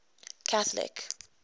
catholic